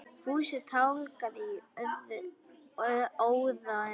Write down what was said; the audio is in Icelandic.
Fúsi tálgaði í óða önn.